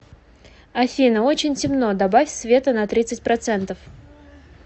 афина очень темно добавь света на тридцать процентов